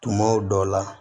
Tumaw dɔ la